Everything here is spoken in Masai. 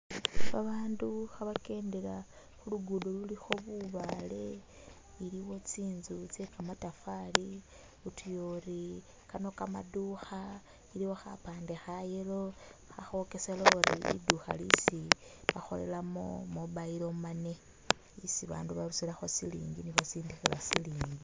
Babandu khabakendela khu lugudo lulikho bubale, iliwo tsinzu tsye kamatafari, utuya ori kano kamadukha iliwo khapande kha yellow khakhokesele ori lidukha lisi bakholelamo mobile money isi bandu barusilakho silingi ni basindikhila silingi